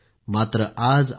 मात्र आज असे नाही